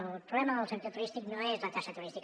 el problema del sector turístic no és la taxa turística